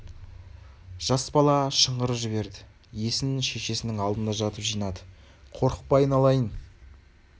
жас бала шыңғырып жіберді есін шешесінің алдында жатып жинады қорықпа айналайын